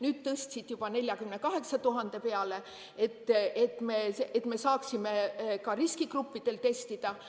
Nüüd tõstsid juba 48 000 peale, et saaks ka riskigruppidel testida.